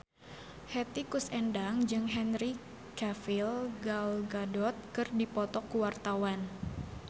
Hetty Koes Endang jeung Henry Cavill Gal Gadot keur dipoto ku wartawan